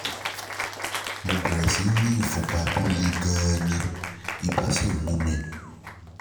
mo bẹ̀rẹ̀ sí ní ìfúnpá tó le gan-an ibà sì ń mú mi